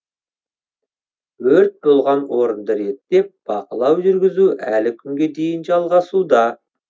өрт болған орынды реттеп бақылау жүргізу әлі күнге дейін жалғасуда